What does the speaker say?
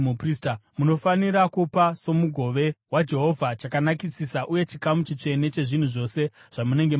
Munofanira kupa somugove waJehovha chakanakisisa uye chikamu chitsvene chezvinhu zvose zvamunenge mapiwa.’